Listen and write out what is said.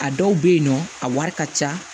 A dɔw bɛ yen nɔ a wari ka ca